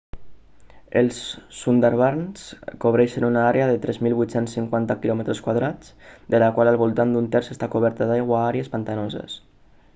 els sundarbans cobreixen una àrea de 3.850 km² de la qual al voltant d'un terç està coberta d'aigua/àrees pantanoses